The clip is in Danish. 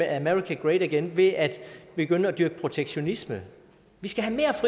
america great again ved at begynde at dyrke protektionisme vi skal